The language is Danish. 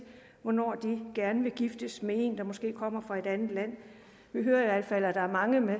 hvornår de gerne vil giftes med en der måske kommer fra et andet land vi hører i hvert fald at der er mange med